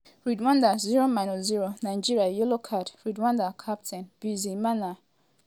rwanda 0-0 nigeria yellow card' rwanda captain bizimana djihad do foul for chukwueze and di referee no waste time to waya am card.